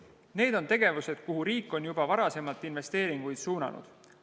Need on tegevused, kuhu riik on juba varasemalt investeeringuid suunanud.